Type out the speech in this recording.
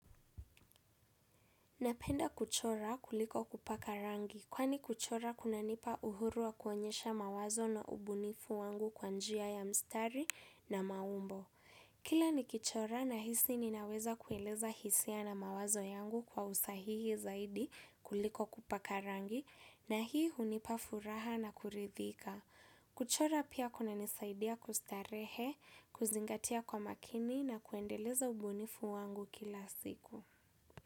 Napenda kuchora kuliko kupaka rangi kwani kuchora kunanipa uhuru wa kuonyesha mawazo na ubunifu wangu kwa njia ya mstari na maumbo. Kila nikichora nahisi ninaweza kueleza hisia na mawazo yangu kwa usahihi zaidi kuliko kupaka rangi na hii hunipa furaha na kuridhika. Kuchora pia kuna nisaidia kustarehe, kuzingatia kwa makini na kuendeleza ubunifu wangu kila siku.